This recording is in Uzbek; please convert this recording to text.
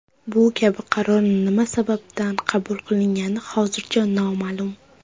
Bu kabi qaror nima sababdan qabul qilingani hozircha noma’lum.